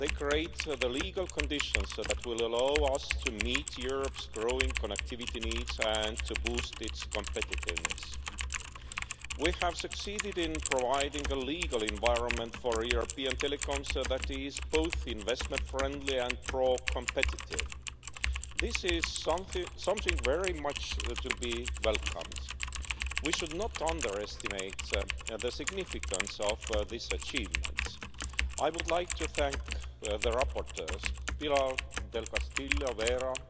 they create the legal conditions that will allow us to meet Europe's growing connectivity needs and to boost its competitiveness. We have succeeded in providing a legal environment for European telecoms that is both investment friendly and pro competitive. This is something very much to be welcomed. We should not underestimate the significance of this achievement. I would like to thank the rapporteurs, Pilar del Castillo